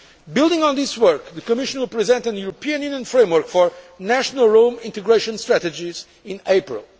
Building on this work, the Commission will present a European Union framework for national Roma integration strategies